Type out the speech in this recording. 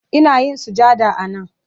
Ina yin sujada a nan